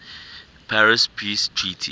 paris peace treaty